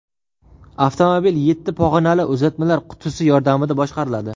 Avtomobil yetti pog‘onali uzatmalar qutisi yordamida boshqariladi.